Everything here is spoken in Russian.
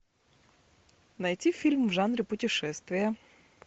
найти фильм в жанре путешествия